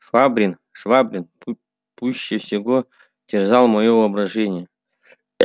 швабрин швабрин пуще всего терзал моё воображение